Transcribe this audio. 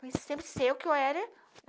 Porque sempre sei o que eu era.